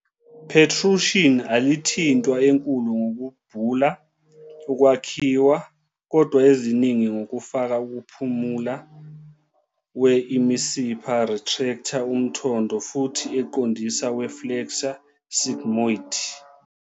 Protrusion alithintwa enkulu ngokubhula ukwakhiwa, kodwa eziningi ngokufaka ukuphumula we imisipha retractor umthondo futhi eqondisa we flexure sigmoid.